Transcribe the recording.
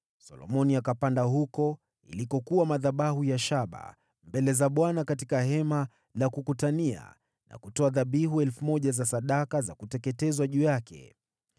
Solomoni akapanda huko yalikokuwa madhabahu ya shaba mbele za Bwana katika Hema la Kukutania, na kutoa dhabihu 1,000 za sadaka za kuteketezwa juu yake.